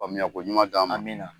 Faamuya ko ɲuman d'an ma. Amina.